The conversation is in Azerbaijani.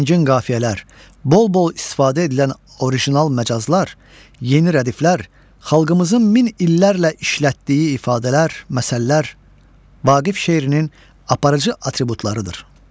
Zəngin qafiyələr, bol-bol istifadə edilən orijinal məcazlar, yeni rədiflər, xalqımızın min illərlə işlətdiyi ifadələr, məsəllər Vaqif şeirinin aparıcı atributlarıdır.